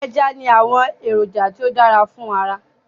Eja ni awọn eroja ti o dara fun ara